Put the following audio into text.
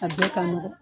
A bɛɛ ka nɔgɔn